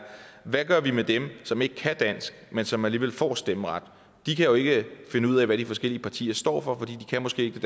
hvad gør vi med dem som ikke kan dansk men som alligevel får stemmeret de kan jo ikke finde ud af hvad de forskellige partier står for for de kan måske ikke